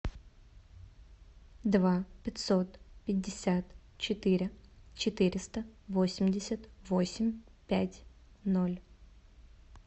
два пятьсот пятьдесят четыре четыреста восемьдесят восемь пять ноль